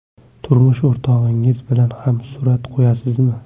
Turmush o‘rtog‘ingiz bilan ham surat qo‘yasizmi?